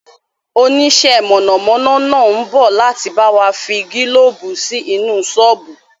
Onisẹ́ mọ̀nàmọ́ná náà ń bọ̀ láti bawa fi gílóóbù sí inú sọ́ọ́bù